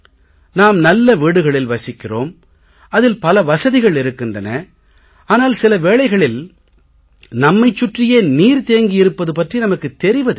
நாம் நல்ல வீடுகளில் வசிக்கிறோம் அதில் பல வசதிகள் இருக்கின்றன ஆனால் சில வேளைகளில் நம்மைச் சுற்றியே நீர் தேங்கி இருப்பது பற்றி நமக்குத் தெரிவதில்லை